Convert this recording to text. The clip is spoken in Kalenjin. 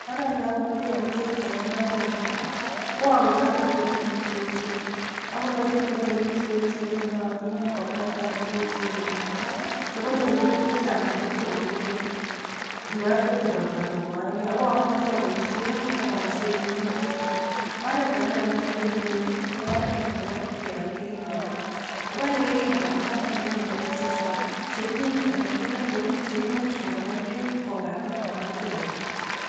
Oreet neokonoren beek en imbarenyun ko akonoren terenik cheechen, akonoren terenik cheechen chenootin ko kentank cheechen mising chekonori beek chechang amoite kobek okot ndobete robta ko koekee, ko amuche aboishen ak obisen minuti chuu, oreet akee nee ikonoren beek ko oreet Nebo kebal kering'onik, obole kering'onik anyun en oinet chechang cheimuch anan ko neloo cheimuch kokonor beek kokakee amoite kobek.